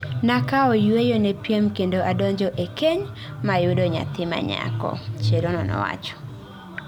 Nakawo yueyo ne piem kendo adonjo ee keny mayudo nyathi manyako, Cherono nowacho.